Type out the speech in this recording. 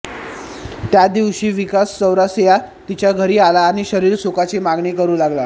त्या दिवशी विकास चौरासिया तिच्या घरी आला व शरीरसुखाची मागणी करू लागला